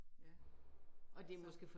Ja. Så